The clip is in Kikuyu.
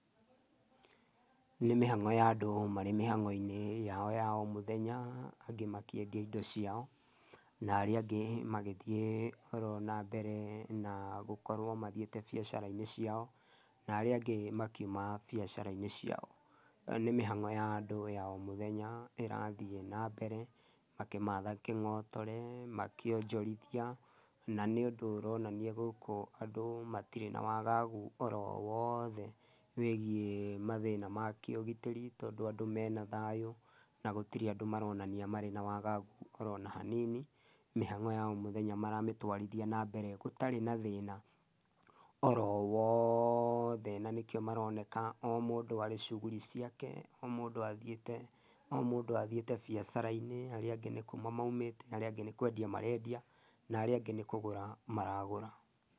Nĩ mĩhang'o ya andũ marĩ mĩhang'o-inĩ yao ya o mũthenya, angĩ makĩendia indo ciao, na arĩa angĩ magĩthiĩ oro na mbere na gũkorwo mathiĩte biacara-inĩ ciao, na arĩa angĩ makiuma biacara-inĩ ciao. Nĩ mĩhang'o ya andũ ya o mũthenya ĩrathiĩ na mbere makĩmatha kĩng'otore, makĩonjorithia, na nĩ ũndũ ũronania gũkũ andũ matirĩ na wagagu oro wothe wĩgiĩ mathĩna ma kĩũgitĩri tondũ andũ mena thayũ na gũtirĩ andũ maronania marĩ na wagagu oro hanini, mĩhang'o ya o mũthenya maramĩtwarithia na mbere gũtarĩ na thĩna oro wothe na nĩkĩo maroneka o mũndũ arĩ cuguri ciake, o mũndũ athiĩte, o mũndũ athiĩte bacara-inĩ, arĩa angĩ nĩ kuma maumĩte, arĩa angĩ nĩ kwendia marendia na arĩa angĩ nĩ kũgũra maragũra.